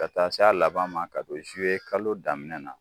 Ka taa se a laban ma ka don kalo daminɛ na.